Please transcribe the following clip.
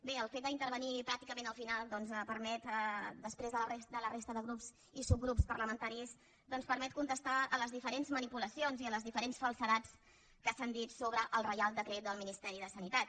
bé el fet d’intervenir pràcticament al final després de la resta de grups i subgrups parlamentaris doncs permet contestar a les diferents manipulacions i a les diferents falsedats que s’han dit sobre el reial decret del ministeri de sanitat